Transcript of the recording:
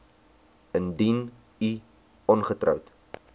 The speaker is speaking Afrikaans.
indien u ongetroud